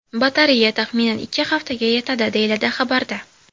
Batareya, taxminan, ikki haftaga yetadi, deyiladi xabarda.